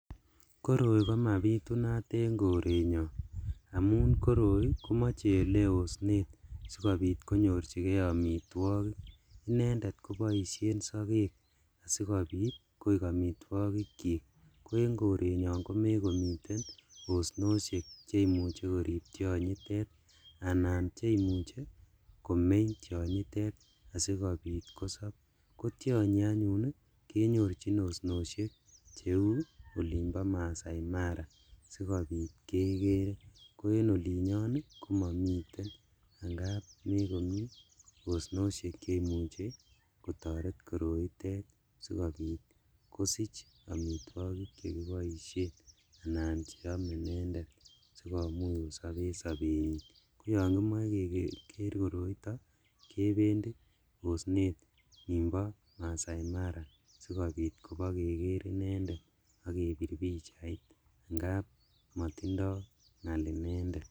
Koroi komabitunat en korenyon amun kiroi komoche ele osnet sikobit konyorjigee omitwogik inendet koboishen sokek sikobit koik omitwogikchik koen korenyon komokomiten osnoshek cheimuche korib tionyitet anan cheimuche komeny tionyitet sikobit kosob kotionyi anyun kenyorjin osnoshek cheu olimbo Maasai Mara sikobit kekere, ko en olinyon komomiten angap osnoshek cheimuche kotoret koroitet sikobit kosich omitwogik chekiboishen anan cheome inendet sikomuch kosob en sobenyin koyon kimoe keker koroito kebendi osnet nimbo Maasai Mara sikobit kobokeker inendet ak kebir pichait amun motindo ng'al inendet.